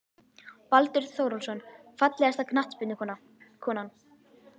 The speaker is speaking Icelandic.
Baldur Þórólfsson Fallegasta knattspyrnukonan?